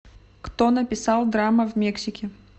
кто написал драма в мексике